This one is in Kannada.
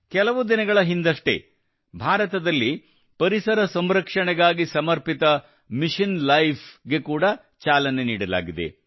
ಕೆಲವು ದಿನಗಳ ಹಿಂದಷ್ಟೇ ಭಾರತದಲ್ಲಿ ಪರಿಸರ ಸಂರಕ್ಷಣೆಗಾಗಿ ಸಮರ್ಪಿತ ಮಿಷನ್ ಲೈಫ್ ಗೆ ಕೂಡಾ ಚಾಲನೆ ನೀಡಲಾಗಿದೆ